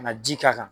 Ka na ji k'a kan